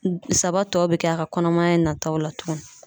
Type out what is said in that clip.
Saba tɔ be kɛ a ka kɔnɔmaya nataw la tukuni.